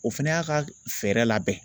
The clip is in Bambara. O fɛnɛ y'a ka fɛɛrɛ labɛn